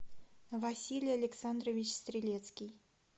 василий александрович стрелецкий